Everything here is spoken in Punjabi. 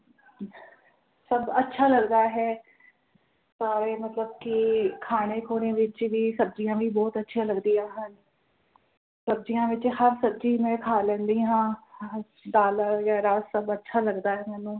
ਸਭ ਅੱਛਾ ਲੱਗਦਾ ਹੈ ਸਾਰੇ ਮਤਲਬ ਕਿ ਖਾਣੇ ਖੁਣੇ ਵਿਚ ਵੀ ਸਬਜ਼ੀਆਂ ਵੀ ਬੋਹੋਤ ਅੱਛੀਆਂ ਲੱਗਦੀਆਂ ਹਨ। ਸਬਜ਼ੀਆਂ ਵਿਚ ਹਰ ਸਬਜ਼ੀ ਮੈਂ ਖਾ ਲੈਂਦੀ ਹਾਂ ਦਾਲ ਯਾ ਰਸ ਸਭ ਅੱਛਾ ਲੱਗਦਾ ਹੈ ਮੈਨੂੰ।